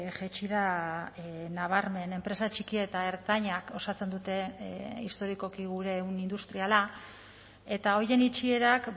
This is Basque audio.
jaitsi da nabarmen enpresa txiki eta ertainak osatzen dute historikoki gure ehun industriala eta horien itxierak